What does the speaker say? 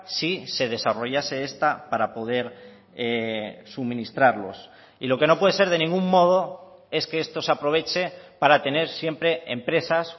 si se desarrollase esta para poder suministrarlos y lo que no puede ser de ningún modo es que esto se aproveche para tener siempre empresas